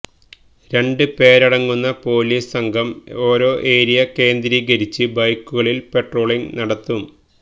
രണ്ട് പേരടങ്ങുന്ന പൊലീസ് സംഘം ഓരോ ഏരിയ കേന്ദ്രീകരിച്ച് ബൈക്കുകളില് പട്രോളിങ് നടത്തും